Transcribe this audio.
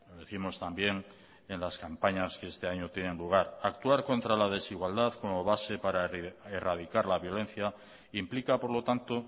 decimos también en las campañas que este año tienen lugar actuar contra la desigualdad como base para erradicar la violencia implica por lo tanto